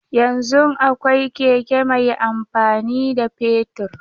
Yanzun akwai keke mai amfani da fetur.